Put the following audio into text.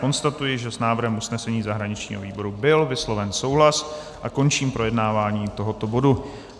Konstatuji, že s návrhem usnesení zahraničního výboru byl vysloven souhlas, a končím projednávání tohoto bodu.